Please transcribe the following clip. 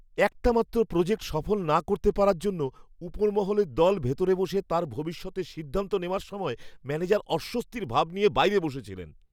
একটামাত্র project সফল না করতে পারার জন্য, উপরমহলের দল ভেতরে বসে তাঁর ভবিষ্যতের সিদ্ধান্ত নেওয়ার সময় ম্যানেজার অস্বস্তির ভাব নিয়ে বাইরে বসেছিলেন।